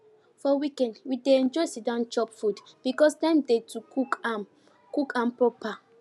for weekend we dey enjoy siddon chop food because time dey to cook am cook am proper